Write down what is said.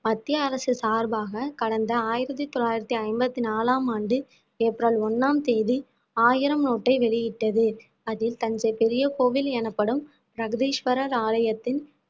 மத்தியரசு சார்பாக கடந்த ஆயிரத்தி தொள்ளாயிரத்தி ஐம்பத்தி நாலாம் ஆண்டு ஏப்ரல் ஒண்ணாம் தேதி ஆயிரம் நோட்டை வெளியிட்டது அதில் தஞ்சை பெரிய கோவில் எனப்படும் பிரகதீஸ்வரர் ஆலயத்தின்